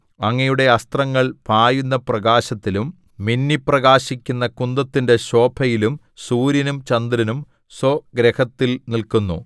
അങ്ങയുടെ അസ്ത്രങ്ങൾ പായുന്ന പ്രകാശത്തിലും മിന്നിപ്രകാശിക്കുന്ന കുന്തത്തിന്റെ ശോഭയിലും സൂര്യനും ചന്ദ്രനും സ്വഗൃഹത്തിൽ നില്ക്കുന്നു